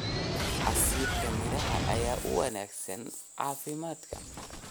Casiirka miraha ayaa u wanaagsan caafimaadka.